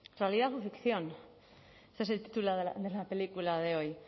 realidad o ficción es el título de la película de hoy